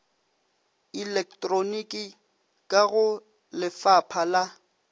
elektroniki ka go lefapha la